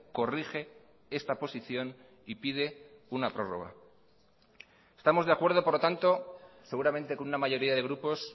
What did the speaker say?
corrige esta posición y pide una prórroga estamos de acuerdo por lo tanto seguramente con una mayoría de grupos